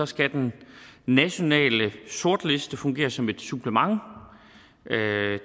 skal den nationale sortliste fungere som et supplement